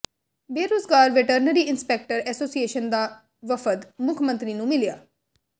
ਬੇਰੁਜ਼ਗਾਰ veterinary inspector association ਦਾ ਵਫ਼ਦ ਮੁੱਖ ਮੰਤਰੀ ਨੂੰ ਮਿਲਿਆ